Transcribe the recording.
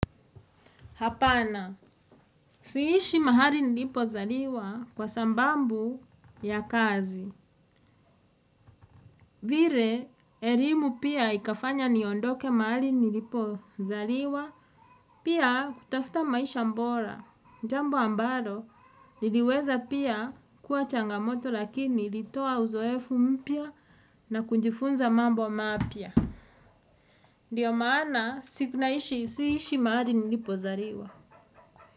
Hapana, sihishi mahali nilipo zaliwa kwa sababu ya kazi. Vile, elimu pia ikafanya niondoke mahali nilipo zaliwa, pia kutafuta maisha bora. Ni jambo ambalo, liliweza pia kuwa changamoto lakini ilitoa uzoefu mpya na kujifunza mambo mapya. Ndio maana, sihishi mahali nilipo zaliwa.